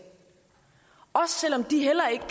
også selv om de heller ikke